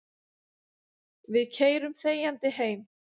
Við keyrum þegjandi heim.